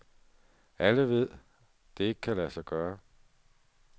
Alle ved, det ikke kan lade sig gøre.